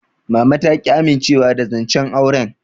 Mama ta ƙi amincewa da zancen auren.